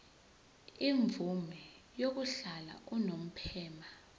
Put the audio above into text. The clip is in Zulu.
imvume yokuhlala unomphema